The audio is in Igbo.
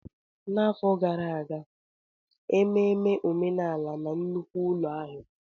N'afọ gara aga, anyị gara ememme omenala na nnukwu ụlọ ahịa.